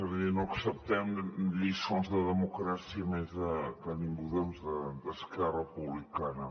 evidentment no acceptem lliçons de democràcia i menys que de ningú doncs d’esquerra republicana